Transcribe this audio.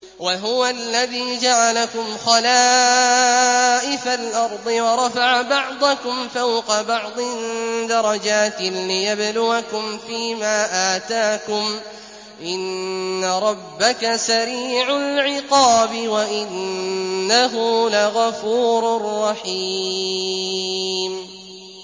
وَهُوَ الَّذِي جَعَلَكُمْ خَلَائِفَ الْأَرْضِ وَرَفَعَ بَعْضَكُمْ فَوْقَ بَعْضٍ دَرَجَاتٍ لِّيَبْلُوَكُمْ فِي مَا آتَاكُمْ ۗ إِنَّ رَبَّكَ سَرِيعُ الْعِقَابِ وَإِنَّهُ لَغَفُورٌ رَّحِيمٌ